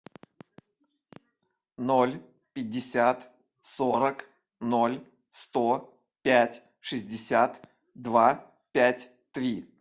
ноль пятьдесят сорок ноль сто пять шестьдесят два пять три